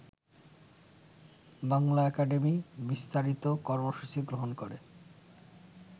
Bangla Academy বিস্তারিত কর্মসূচি গ্রহণ করে